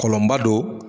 Kɔlɔnba don